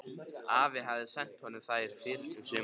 Afi hafði sent honum þær fyrr um sumarið.